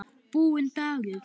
Búinn dagur.